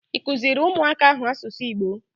Ị kụziri ụmụaka ahụ asụsụ Igbo?